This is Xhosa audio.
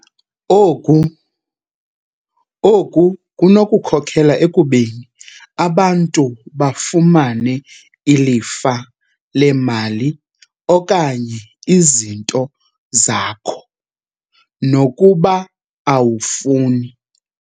Oku kunokhokela ekubeni abantu bafumane ilifa leemali okanye izinto zakho, nokuba awufuni.